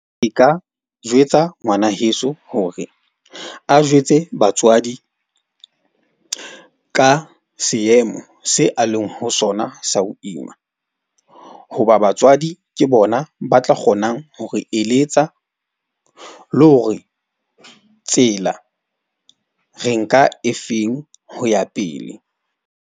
Ke ka jwetsa ngwana heso hore a jwetse batswadi ka seemo se a leng ho sona sa ho ima. Hoba batswadi ke bona ba tla kgonang ho re eletsa le hore tsela re nka efeng ho ya pele.